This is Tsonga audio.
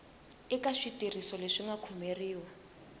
eka switirhiso leswi nga komberiwa